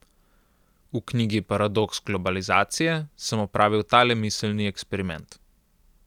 V knjigi Paradoks globalizacije sem opravil tale miselni eksperiment.